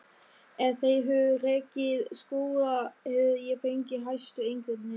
Ef þeir hefðu rekið skóla hefði ég fengið hæstu einkunnir.